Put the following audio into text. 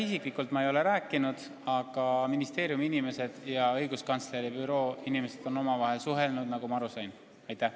Isiklikult ma ei ole temaga rääkinud, aga ministeeriumi inimesed ja õiguskantsleri büroo inimesed on omavahel suhelnud, nagu ma aru olen saanud.